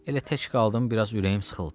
Elə tək qaldım, biraz ürəyim sıxıldı.